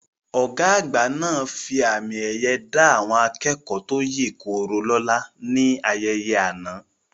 Ọ̀gá àgbà náà fi àmì ẹ̀yẹ dá àwọn akẹ́kọ̀ọ́ tó yè koro lóla ní ayẹyẹ àná